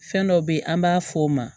Fɛn dɔ be yen an b'a f'o ma